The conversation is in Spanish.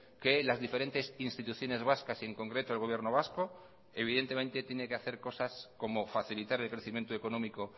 que las diferentes instituciones vascas y en concreto el gobierno vasco evidentemente tiene que hacer cosas como facilitar el crecimiento económico